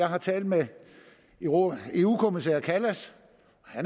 har talt med eu kommissær kallas